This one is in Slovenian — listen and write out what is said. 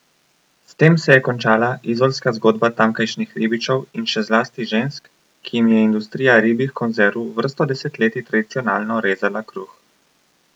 S tem se je končala izolska zgodba tamkajšnjih ribičev in še zlasti žensk, ki jim je industrija ribjih konzerv vrsto desetletij tradicionalno rezala kruh.